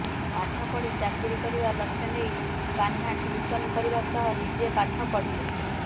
ପାଠ ପଢ଼ି ଚାକିରି କରିବା ଲକ୍ଷ୍ୟ ନେଇ କାହ୍ନା ଟ୍ୟୁସନ କରିବା ସହ ନିଜେ ପାଠ ପଢିଲେ